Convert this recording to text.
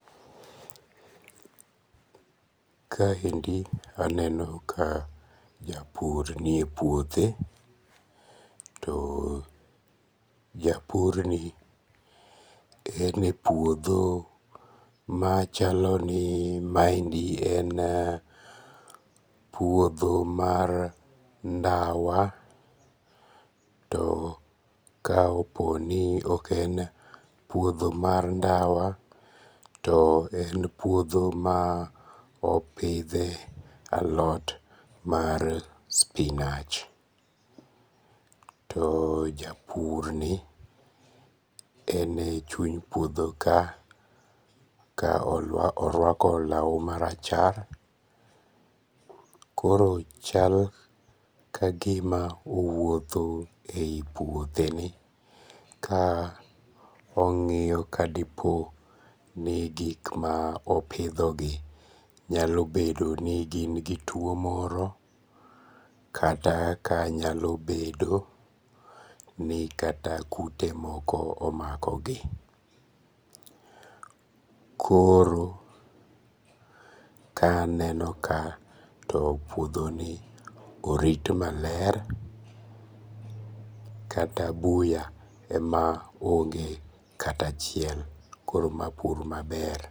Kaendi aneno ka japur nie puothe, too japurni enie puotho machalo ni ni maendi en puotho mar ndawa, to ka oponi ok en puotho mar ndawa to en puotho ma opithe alot mar spinach, too japurni enie chung' puotho ka, ka oruako lawu marachar, koro chal kagima owuotho e yi puotheni ka ong'yo ka dipo ka gik ma opithogi nyalo bedo ni gin gi two moro kata ka nyalo bedo ka kata kute moko omakogi. koro kaa eneno ka to puothoni orit maler kata buya ena honge' kata achiel koro mae puotho maber.